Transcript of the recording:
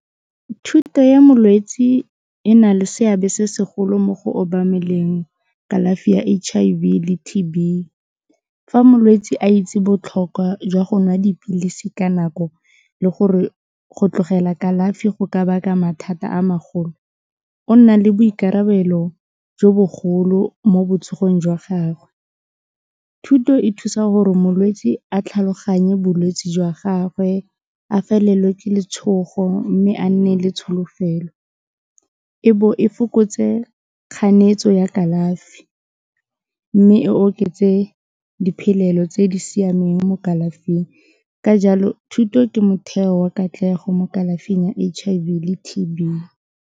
Thuto ya molwetsi e na le seabe se segolo mo go obameleng kalafi ya H_I_V le T_B fa molwetsi a itse botlhokwa jwa go nwa dipilisi ka nako le gore go tlogela kalafi go ka baka mathata a magolo, o nna le boikarabelo jo bogolo mo botsogong jwa gagwe, thuto e thusa gore molwetsi a tlhaloganye bolwetsi jwa gagwe, a felelwe ke letshogo mme a nne le tsholofelo, ebo e fokotse kganetso ya kalafi mme e oketse diphelelo tse di siameng mo kalafing ka jalo thuto ke motheo wa katlego mo kalafing ya H_I_V le T_B.